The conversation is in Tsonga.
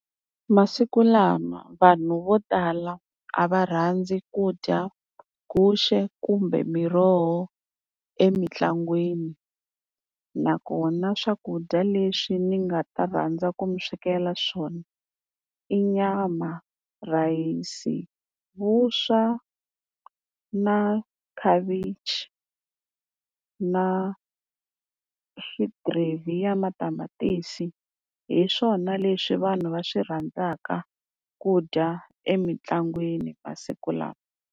Masiku lama vanhu vo tala a va rhandzi ku dya guxe, kumbe miroho emitlangwini. Nakona swakudya leswi ni nga ta rhandza ku mi swekela swona i nyama, rhayisi, vuswa na khavichi na gravy ya matamatisi. Hi swona leswi vanhu va swi rhandzaka ku dya emitlangwini masiku lawa.